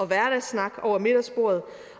hverdagssnak over middagsbordet